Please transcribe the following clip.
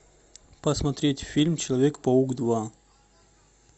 посмотреть фильм человек паук два